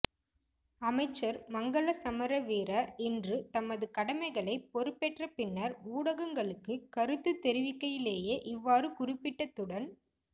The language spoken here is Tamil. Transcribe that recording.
அமைச்சர் மங்கள சமரவீர இன்று தமது கடமைகளை பொறுப்பேற்ற பின்னர் ஊடகங்களுக்கு கருத்து தெரிவிக்கையிலேயே இவ்வாறு குறிப்பிட்டதுடன்